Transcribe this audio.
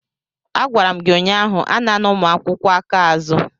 Agwara m gị ụnyaahụ, anana ụmụ akwụkwọ aka azụ!